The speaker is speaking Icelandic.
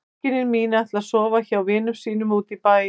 Systkini mín ætla að sofa hjá vinum sínum úti í bæ.